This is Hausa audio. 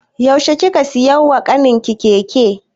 Yaushe kika siya wa ƙanin ki keke?